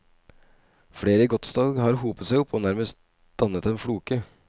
Flere godstog har hopet seg opp og nærmest dannet en floke.